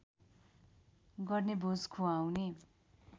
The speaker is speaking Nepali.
गर्ने भोज खुवाउने